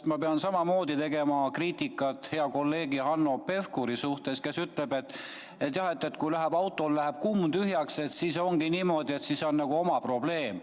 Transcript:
Ma pean samamoodi tegema kriitikat hea kolleegi Hanno Pevkuri suhtes, kes ütleb, et kui autol läheb kumm tühjaks, siis ongi niimoodi – oma probleem.